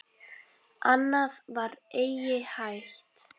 Annað var eigi hægt.